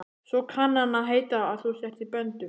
Svo kann að heita að þú sért í böndum.